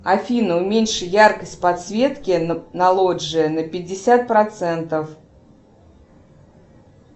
афина уменьши яркость подсветки на лоджии на пятьдесят процентов